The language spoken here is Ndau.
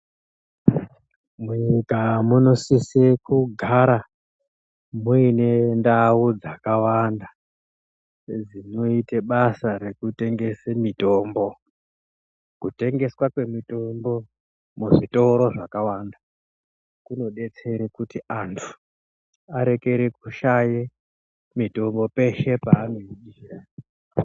Mu nyika muno sise kugara muine ndau dzaka wanda dzinoite basa reku tengese mitombo ku tengeswa kwe mitombo mu zvitoro zvaka wanda kuno detsere kuti antu arekere kushaye mitombo peshe pa anenge echi ida.